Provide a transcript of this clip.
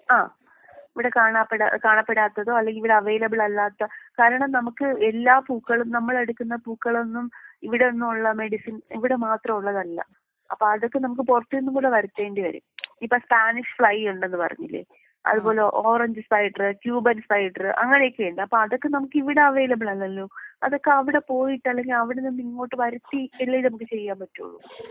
ആഹ് ഇവിടെ കാണാപ്പെടാ കാണപ്പെടാത്തതോ അല്ലെങ്കി ഇവിടെ അവൈലബിൾ അല്ലാത്ത കാരണം നമുക്ക് എല്ലാ പൂക്കളും നമ്മളെടുക്കുന്ന പൂക്കളൊന്നും ഇവിടെ നിന്നുള്ള മെഡിസിൻ ഇവിടെ മാത്രമുള്ളതല്ല. അപ്പൊ അതൊക്കെ നമുക്ക് പൊറത്തിന്നും കൂടെ വരുത്തേണ്ടി വരും.ഇപ്പൊ സ്പാനിഷ് ഫ്ലൈ ഉണ്ടെന്ന് പറഞ്ഞില്ലേ? അത് പോലെ ഓറഞ്ച് സ്പൈഡറ് ക്യൂബൻ സ്പൈഡറ് അങ്ങനെ ഒക്കെയുണ്ട് അപ്പൊ അതൊക്കെ നമ്മക്ക് ഇവിടെ അവൈലബിൾ അല്ലല്ലോ? അതൊക്കെ അവിടെ പോയിട്ട് അല്ലെങ്കി അവിടന്നിങ്ങോട്ട് വരുത്തി അല്ലെ നമുക്ക് ചെയ്യാൻ പറ്റൊള്ളൂ.